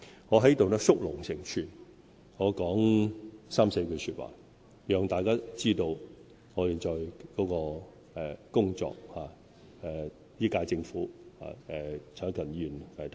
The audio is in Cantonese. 我在此縮龍成寸，說三四句話，讓大家知道本屆政府現在的工作。